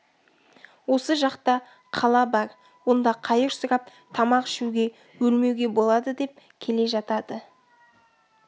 осы жақта қала бар онда қайыр сұрап тамақ ішуге өлмеуге болады деп келе жатады